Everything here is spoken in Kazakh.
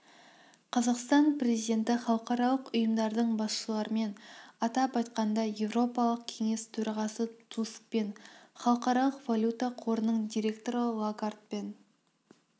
қазақстан президенті халықаралық ұйымдардың басшыларымен атап айтқанда еуропалық кеңес төрағасы тускпен халықаралық валюта қорының директоры лагардбен